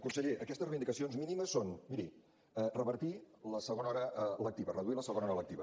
conseller aquestes reivindicacions mínimes són miri revertir la segona hora lectiva reduir la segona hora lectiva